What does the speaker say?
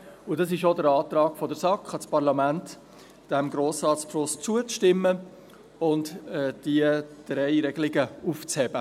Es ist auch der Antrag der SAK an das Parlament, diesem Grossratsbeschluss zuzustimmen und diese drei Regelungen aufzuheben.